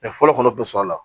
fɔlɔ kɔnɔ bɛ sɔrɔ a la